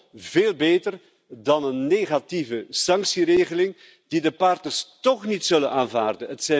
Dat is veel beter dan een negatieve sanctieregeling die de partners toch niet zullen aanvaarden.